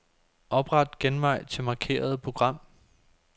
Opret genvej til markerede program.